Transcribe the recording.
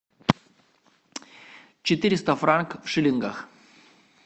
четыреста франков в шиллингах